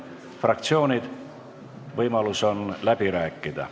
Fraktsioonid, võimalus on läbi rääkida.